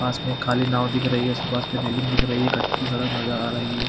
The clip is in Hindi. पास में एक खाली नांव दिख रही है उसके पास में रैलिंग दिख रही है कच्ची सड़क नज़र आ रही है।